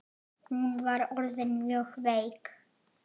Hún var orðin mjög veik.